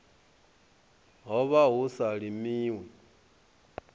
ho vha hu sa limiwi